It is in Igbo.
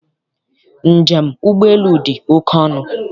Njem ụgbọelu dị oke ọnụ.